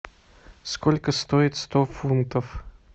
сколько стоит сто фунтов